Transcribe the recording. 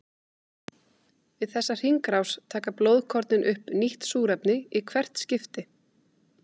Við þessa hringrás taka blóðkornin upp nýtt súrefni í hvert skipti.